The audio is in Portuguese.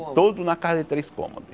Tudo na casa de três cômodos.